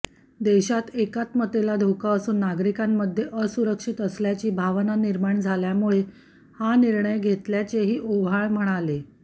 देशात एकात्मतेला धोका असून नागरिकांमध्ये असुरक्षित असल्याची भावना निर्माण झाल्यामुळे हा निर्णय घेतल्याचेही ओव्हाळ म्हणाले